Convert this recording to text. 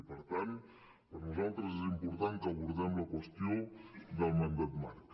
i per tant per nosaltres és im·portant que abordem la qüestió del mandat marc